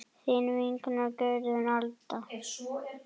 Þín vinkona Guðrún Dadda.